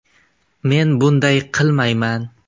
Men bunday qilmayman.